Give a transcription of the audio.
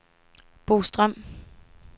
Bo Strøm